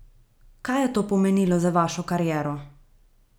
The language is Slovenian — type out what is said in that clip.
Kaj je to pomenilo za vašo kariero?